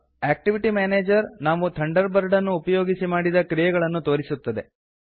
activity manager ನಾವು Thunderbird ಅನ್ನು ಉಪಯೋಗಿಸಿ ಮಾಡಿದ ಕ್ರಿಯೆಗಳನ್ನು ತೋರಿಸುತ್ತದೆ